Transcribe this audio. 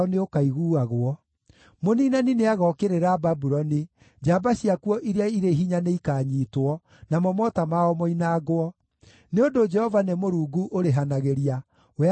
Mũniinani nĩagookĩrĩra Babuloni; njamba ciakuo iria irĩ hinya nĩikaanyiitwo, namo mota mao moinangwo. Nĩ ũndũ Jehova nĩ Mũrungu ũrĩhanagĩria; we akaarĩhanĩria biũ.